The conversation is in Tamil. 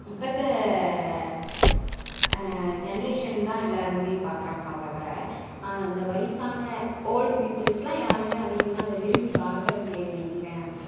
இப்ப இருக்குற அன் generation தான் எல்லாருமே பாக்குறாங்க லான் தவிர இந்த வயசான old people லான் யாருமே அதிகமா அத விரும்பி பாக்குறது லிங்க